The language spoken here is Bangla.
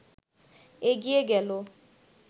এগিয়ে গেল